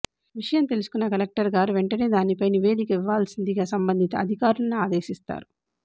విషయం తెలుసుకున్న కలెక్టరు గారు వెంటనే దానిపై నివేదిక ఇవ్వాల్సిందిగా సంబంధిత అధికారులను ఆదేశిస్తారు